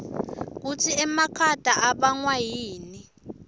kutsi emakhata ibangwayini